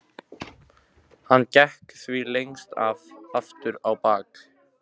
Hann gekk því lengst af aftur á bak.